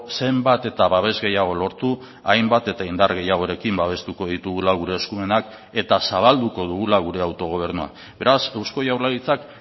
zenbat eta babes gehiago lortu hainbat eta indar gehiagorekin babestuko ditugula gure eskumenak eta zabalduko dugula gure autogobernua beraz eusko jaurlaritzak